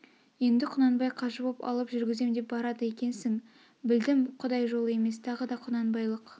енді құнанбай қажы боп алып жүргізем деп барады екесң білдім құдай жолы емес тағы да құнанбайлық